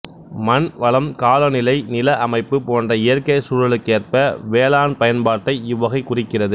மண் வளம் காலநிலை நில அமைப்பு போன்ற இயற்கைச் சூழலுக்கேற்ற வேளாண்பயன்பாட்டை இவ்வகைக் குறிக்கிறது